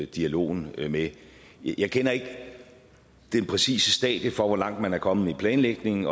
dialogen med jeg kender ikke det præcise stadie for hvor langt man er kommet i planlægningen